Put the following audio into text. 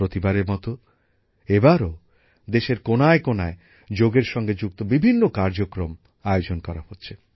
প্রতিবারের মতো এবারও দেশের কোনায় কোনায় যোগের সঙ্গে সম্পৃক্ত বিভিন্ন কার্যক্রম আয়োজন করা হচ্ছে